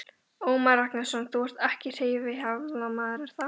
Ómar Ragnarsson: Þú ert ekkert hreyfihamlaður, er það?